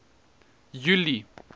julie